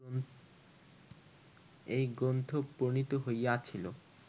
এই গ্রন্থ প্রণীত হইয়াছিল